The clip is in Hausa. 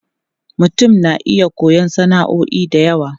Mutum na iya koyon sana'o'i da yawa.